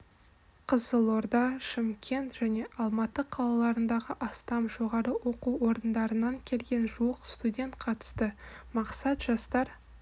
қызылорда шымкент және алматы қалаларындағы астам жоғары оқу орындарынан келген жуық студент қатысты мақсат жастар